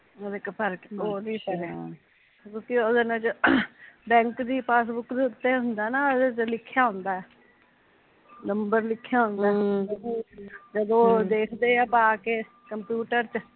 ਕਿਓਕਿ ਉਹਦੇ ਨਾਲ ਜਦ ਬੈਂਕ ਦੀ ਪਾਸਬੁੱਕ ਦੇ ਉਤੇ ਹੁੰਦਾ ਨਾ ਉਹਦੇ ਤੇ ਲਿਖਿਆ ਹੁੰਦਾ ਏ ਨੰਬਰ ਲਿਖਿਆ ਹੁੰਦਾ ਐ ਹਮ ਜਦੋਂ ਓਹ ਦੇਖਦੇ ਐ ਪਾ ਕੇ ਕੰਪਿਊਟਰ ਚ ਨੰਬਰ ਇੱਕ ਭਰ ਕੇ ਓਹ ਉਦੋਂ ਹੀਂ ਉੱਪਰ ਆ ਜਾਂਦਾ